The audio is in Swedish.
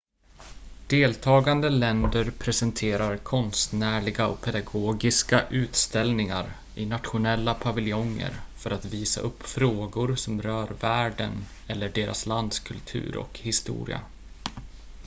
deltagande länder presenterar konstnärliga och pedagogiska utställningar i nationella paviljonger för att visa upp frågor som rör världen eller deras lands kultur och historia